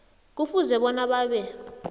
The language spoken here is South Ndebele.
kufuze bona babe